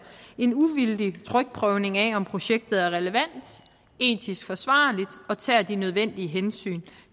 en uvildig trykprøvning af om projektet er relevant etisk forsvarligt og tager de nødvendige hensyn